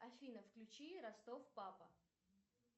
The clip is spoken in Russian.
афина включи ростов папа